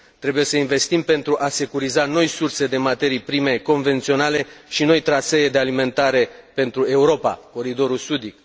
Trebuie să investim pentru a securiza noi surse de materii prime convenționale și noi trasee de alimentare pentru Europa coridorul sudic.